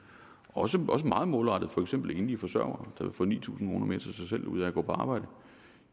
også meget målrettet for eksempel enlige forsørgere der vil få ni tusind kroner mere til sig selv ud af at gå på arbejde